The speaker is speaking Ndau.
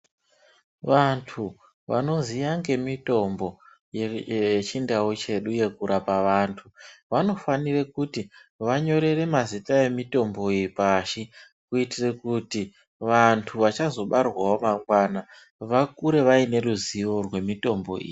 Vantu vanoziya ngemitombo yechindau chedu yekurapa vantu vanofanirw kutinyorere mazita emitombo iyi pashi kuitira kuti vantu vachazobarwawo mangwana vakure vane ruzivo remutombo iyi.